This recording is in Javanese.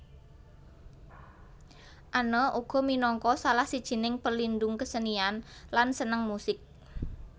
Anne uga minangka salah sijining pelindung kesenian lan seneng musik